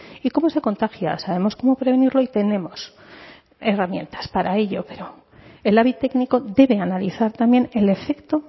y cómo se contagia sabemos cómo prevenirlo y tenemos herramientas para ello pero el labi técnico debe analizar también el efecto